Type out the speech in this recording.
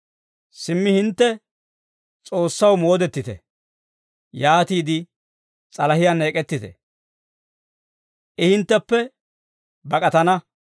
Simmi, hintte S'oossaw moodettite. Yaatiide s'alahiyaanna ek'ettite; I hintteppe bak'atana.